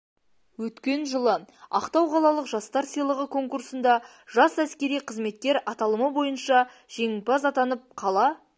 өткен жылы ақтау қалалық жастар сыйлығы конкурсында жас әскери қызметкер аталымы бойынша жеңімпаз атанып қала